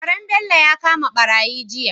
Karen Bello ya kama barayi jiya